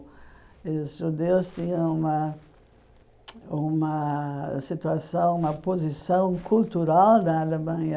Os judeus tinham uma uma situação uma posição cultural na Alemanha.